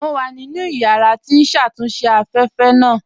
Mo wà nínu yàrà tí n ṣatúnṣe afẹ́fẹ́ naa